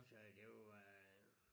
Så det var øh